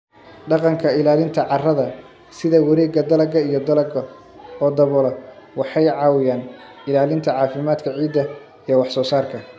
Dhaqanka ilaalinta carrada, sida wareegga dalagga iyo dalagga oo daboola, waxay caawiyaan ilaalinta caafimaadka ciidda iyo wax soo saarka.